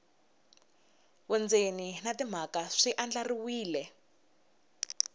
vundzeni na timhaka swi andlariwile